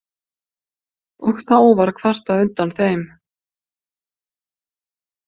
Og þá var kvartað undan þeim.